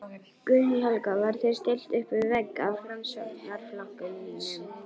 Guðný Helga: Var þér stillt uppvið vegg af Framsóknarflokknum?